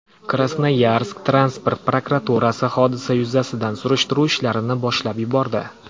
Krasnoyarsk transport prokuraturasi hodisa yuzasidan surishtiruv ishlarini boshlab yubordi.